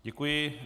Děkuji.